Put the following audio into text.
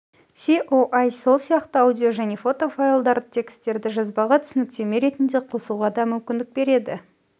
соі сол сияқты аудио және фотофайлдарды текстерді жазбаға түсініктеме ретінде қосуға да мүмкіндік береді